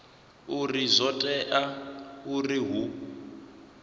uri zwo tea uri hu